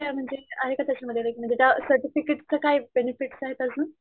काय म्हणजे आहे का त्याच्यामध्ये लाइक त्या सर्टिफिकेटच काय बेनेफिट्स आहेत अजून?